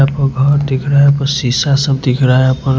यहां पर घर दिख रहा है यहा पर शीशा सब दिख रहा है यहा पर--